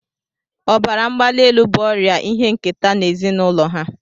Ọbara mgbali elu bụ ọrịa ihe nketa n'ezinụlọ ha